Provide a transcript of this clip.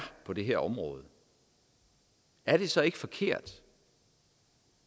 på det her område er det så ikke forkert